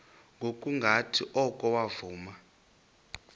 ngokungathi oko wavuma